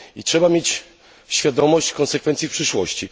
I trzeba mieć świadomość konsekwencji w przyszłości.